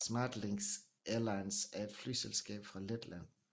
SmartLynx Airlines er et flyselskab fra Letland